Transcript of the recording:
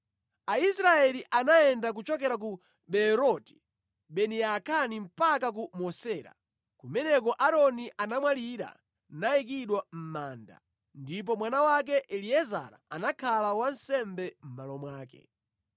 Aisraeli anayenda kuchokera ku Beeroti Beni Yaakani mpaka ku Mosera. Kumeneko Aaroni anamwalira nayikidwa mʼmanda, ndipo mwana wake Eliezara anakhala wansembe mʼmalo mwake.